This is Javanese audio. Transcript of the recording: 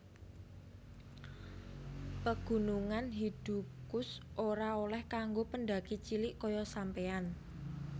Pegunungan Hidukush ora oleh kanggo pendaki cilik koyo sampeyan